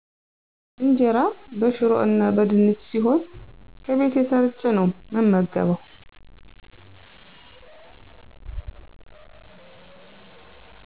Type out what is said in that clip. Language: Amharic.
እንጀራ በሽሮ እና በድንች ሲሆን ከቤቴ ሰርቸ ነው ምመገበው።